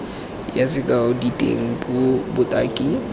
yona sekao diteng puo botaki